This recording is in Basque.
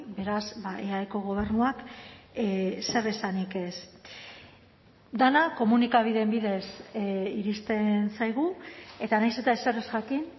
beraz eaeko gobernuak zer esanik ez dena komunikabideen bidez iristen zaigu eta nahiz eta ezer ez jakin